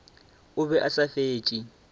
o be a sa fetše